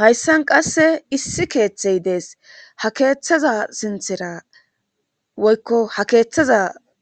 hayssan qasse issi keeththey dees ha keeththaza sinthera woykko ha keeththaza